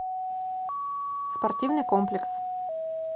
спортивный комплекс